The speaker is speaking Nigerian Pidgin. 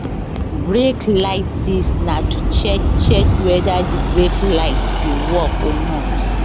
brake light dis na to check check weda di brake light dey work or not